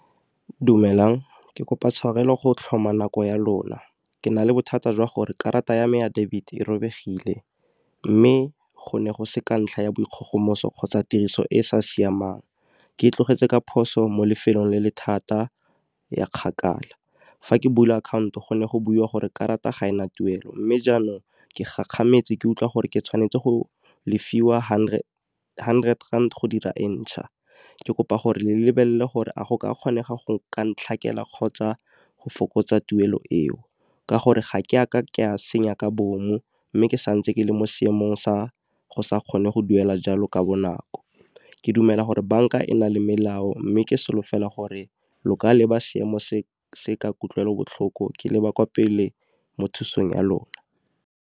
Dumelang, ke kopa tshwarelo go tlhoma nako ya lona, ke na le bothata jwa gore karata ya me ya debit e robegile. Mme go ne go se ka ntlha ya bo dikgogomoso kgotsa tiriso e e sa siamang, Ke e tlogetse ka phoso mo lefelong le le thata ya kgakala. Fa ke bula akhaonto go ne go buiwa gore karata ga ena tuelo, mme jaanong ke gakgametse ke utlwa gore ke tshwanetse go lefiwa hundred rand go dira e ntšha. Ke kopa gore le lebelele gore a go ka kgonega go ka kgotsa go fokotsa tuelo eo. Ka gore ga ke ka ka senya ka bomu mme ke santse ke le mo seemong sa go sa kgone go duela jalo ka bonako, ke dumela gore banka e na le melao mme ke solofela gore lo ka leba seemo se ka kutlwelobotlhoko ke leba kwa pele mo thusang ya lona.